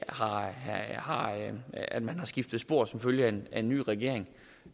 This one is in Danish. at man har skiftet spor som følge af en ny regering